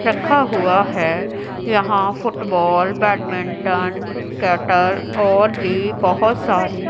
रखा हुआ है यहां फुटबॉल बैडमिंटन कैटल और भी बहुत सारी --